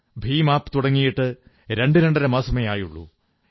Bhim app തുടങ്ങിയിട്ട് രണ്ട് രണ്ടര മാസമേ ആയിട്ടുള്ളൂ